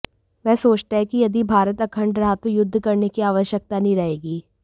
वह सोचता है कि यदि भारत अखण्ड रहा तो युद्ध करने की आवश्यकता नहीं रहेगी